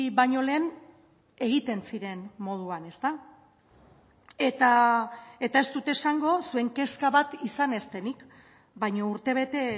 baino lehen egiten ziren moduan eta ez dut esango zuen kezka bat izan ez denik baina urtebete